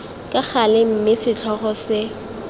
ka gale mme setlhogo se